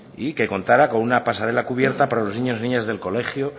y que contara con una pasarela cubierta para los niños y niñas del colegio